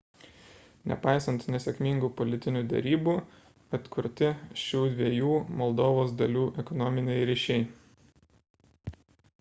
nepaisant nesėkmingų politinių derybų atkurti šių dviejų moldovos dalių ekonominiai ryšiai